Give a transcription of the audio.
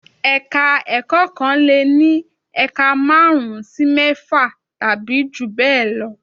Ẹ̀ka-ẹ̀kọ́ kan lè ní ẹ̀ka márùn-ún sí mẹ́fà tàbí jù bẹ́ẹ̀ lọ.